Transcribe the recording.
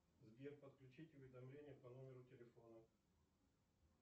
сбер подключить уведомление по номеру телефона